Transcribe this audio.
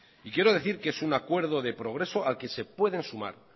quiero decir que es un acuerdo de progreso al que se pueden sumar